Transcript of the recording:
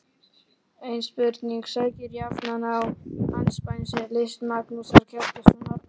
Ein spurning sækir jafnan á andspænis list Magnúsar Kjartanssonar